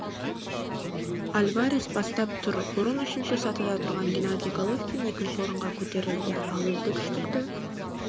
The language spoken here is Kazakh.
альварес бастап тұр бұрын үшінші сатыда тұрған геннадий головкин екінші орынға көтерілді ал үздік үштікті